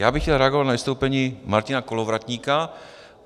Já bych chtěl reagovat na vystoupení Martina Kolovratníka.